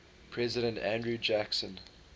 president andrew jackson